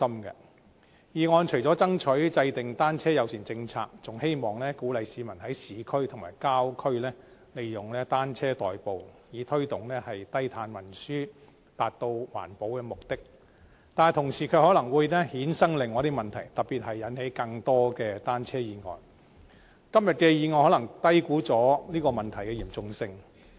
議案除了爭取制訂單車友善政策外，還希望鼓勵市民在市區和郊區利用單車代步，以推動低碳運輸，達到環保的目的，但同時可能會衍生出另一些問題，特別是引起更多單車意外，今天的議案可能低估了有關問題的嚴重性。